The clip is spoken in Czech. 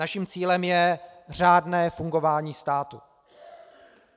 Naším cílem je řádné fungování státu.